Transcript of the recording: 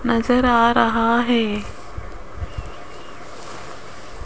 नजर आ रहा है।